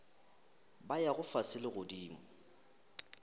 ba yago fase le godimo